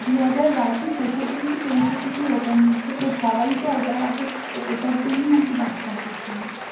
দুহাজার বাইশের শেষের দিকে কি তেইশের দিকেই open হয়েছে তো সবাই তো ওটার ওটার জন্যই আরকি যাচ্ছে আকর্ষণে